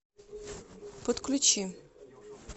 подключи